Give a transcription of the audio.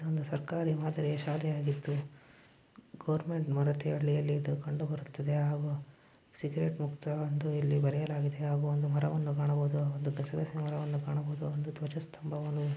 ಒಂದು ಸರ್ಕಾರಿ ಮಾದರಿಯ ಶಾಲೆ ಆಗಿತ್ತು ಗೋರ್ಮೆಂಟ್ ಮಾರತಹಳ್ಳಿಯಲ್ಲಿ ಇದು ಕಂಡು ಬರುತ್ತದೆ ಹಾಗೂ ಸಿಗರೇಟ್ ಮುಕ್ತ ಎಂದು ಇಲ್ಲಿ ಬರೆಯಲಾಗಿದೆ ಹಾಗೂ ಒಂದು ಮರವನ್ನು ಕಾಣಬಹುದು ಒಂದು ಒಂದು ಗಸಗಸೆ ಮರವನ್ನು ಕಾಣಬಹುದು ಒಂದು ಧ್ವಜಸ್ಕಂಬವನ್ನು--